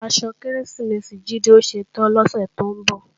Aṣọ Kérésìmesì Jídé ó ṣetán lọ́sè tó ń bọ̀